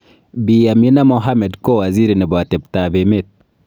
Bi Amina Mohammed kowaziri nebo atebtak emet.